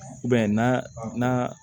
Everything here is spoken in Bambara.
I b'a ye na